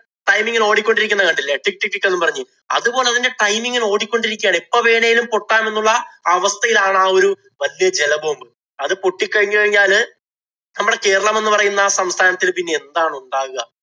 time ഇങ്ങനെ ഓടിക്കൊണ്ടിരിക്കുന്നത് കണ്ടില്ലേ. tik tik tik എന്ന് പറഞ്ഞ്. അതുപോലെ അതിന്‍റെ time ഇങ്ങനെ ഓടിക്കൊണ്ടിരിക്കുകയാണ്. എപ്പം വേണേലും പൊട്ടാമെന്നുള്ള അവസ്ഥയിലാണ് ആ ഒരു വല്യ ജല bomb. അത് പൊട്ടി കഴിഞ്ഞു കഴിഞ്ഞാല് നമ്മടെ കേരളം എന്ന് പറയുന്ന ആ സംസ്ഥാനത്തില്‍ പിന്നെ എന്താണ് ഉണ്ടാകുക?